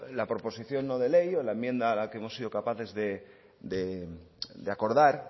la proposición no de ley o la enmienda a la que hemos sido capaces de acordar